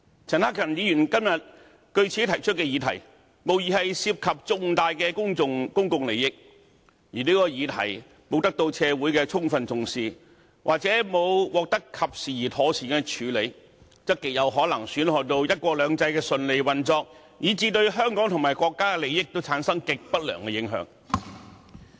陳克勤議員今天據此提出的議題，無疑涉及重大公共利益，而這項議題如果沒有得到社會的充分重視，或者沒有獲得及時而妥善的處理，則極有可能損害到"一國兩制"的順利運作，以至對香港和國家的利益產生極不良的影響。